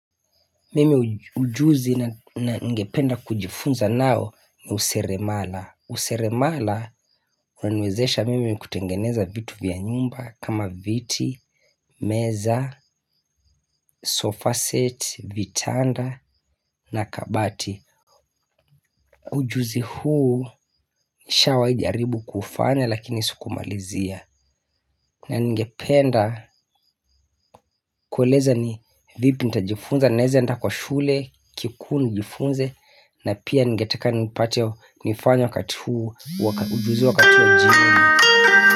Mimi ujuzi na ningependa kujifunza nayo ni useremala. Useremala waniwezesha mimi kutengeneza vitu vya nyumba. Kama viti, meza, sofa set, vitanda na kabati. Ujuzi huu nishawahi jaribu kufanya lakini sukumalizia. Na ningependa kueleza ni vipi ntajifunza naeze enda kwa shule kikuu nijifunze. Na pia ningeteka nipate nifanye wakati huu. Ujuzi wakati wa jioni.